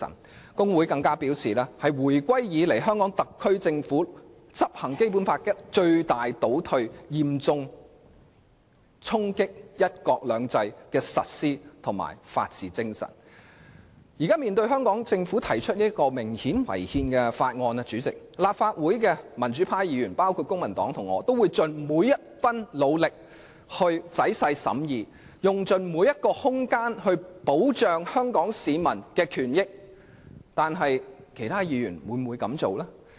大律師公會更表示這是自回歸以來，香港特區政府執行《基本法》的最大倒退，嚴重衝擊"一國兩制"的實施和法治精神。現時面對香港政府提出這項顯然違憲的《條例草案》，立法會的民主派議員會盡每一分努力仔細審議，並用盡每一寸空間保障香港市民的權益。可是，其他議員會否這樣做呢？